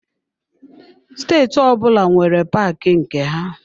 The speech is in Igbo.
Steeti ọbụla nwere paaki nke ha.